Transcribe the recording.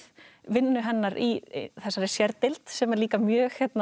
vinnu hennar í þessari sérdeild sem er líka mjög